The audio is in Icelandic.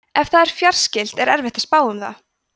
ef það er fjarskylt er erfitt að spá um það